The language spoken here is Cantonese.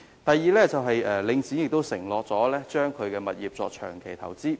第二，領展曾承諾把其物業作長期投資。